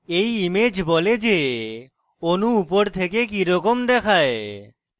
এই image বলে the অণু উপর থেকে কিরকম দেখায়